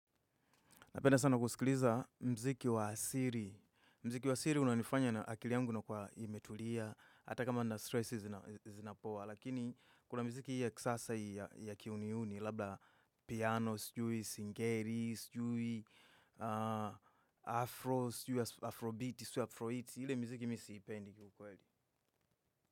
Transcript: Napenda sana kusikiliza mziki wa asili. Mziki wa asili unanifanya na akili yangu inakuwa imetulia. Hata kama na stressi zinapowa. Lakini kuna miziki hii ya kisasa hii ya kiuniuni. Labda piano, sijui, singeri, sijui, afro, sijui, afrobeat, sijui afrohits. Ile mziki mi siipendi kwa kweli.